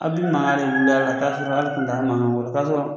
A bɛ makan de bila ka taa sɔrɔ hali tun taa ma wɛrɛta sɔrɔ